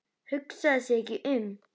Hugsaði sig ekki um!